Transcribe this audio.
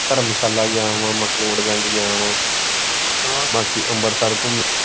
ਧਰਮਸ਼ਾਲਾ ਗਿਆ ਵਾਂ ਮਕਲੋਡਗੰਜ ਗਿਆ ਵਾਂ ਹਾਂ ਬਾਕੀ ਅੰਮ੍ਰਿਤਸਰ ਘੁੰਮ।